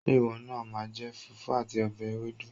Ṣé ìwọ náà máa jẹ fùfú àti ọbẹ̀ ewédú?